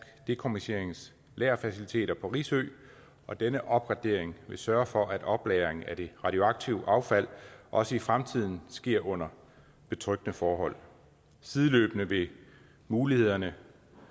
dekommissionerings lagerfaciliteter på risø og denne opgradering vil sørge for at oplagringen af det radioaktive affald også i fremtiden sker under betryggende forhold sideløbende vil mulighederne